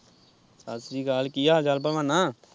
ਸਤਿ ਸ਼ੀ੍ ਅਕਾਲ ਕੀ ਹਾਲ-ਚਾਲ ਭਲਵਾਨਾਂ।